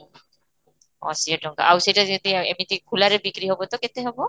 ଅଶି ଏ ଟଙ୍କା ଆଉ ସେଇଟା ଯଦି ଆଉ ଏମିତି ଖୋଲାରେ ବିକ୍ରି ହେବ ତ କେତେ ହେବ?